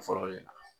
Fɔlɔ de la